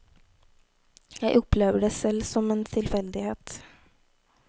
Jeg opplever det selv som en tilfeldighet.